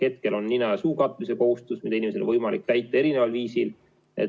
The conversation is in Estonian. Hetkel on nina ja suu katmise kohustus, mida inimesel on võimalik täita erineval viisil.